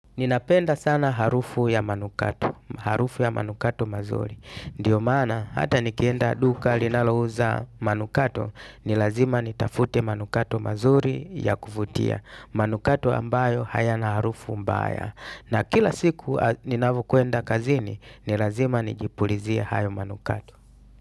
Ninapenda sana harufu ya manukato, harufu ya manukato mazuri. Ndyo maana hata nikienda duka linalouza manukato ni lazima nitafute manukato mazuri ya kuvutia manukato ambayo hayana harufu mbaya. Na kila siku ninavyokuenda kazini, nilazima nijipulizie hayo manukato.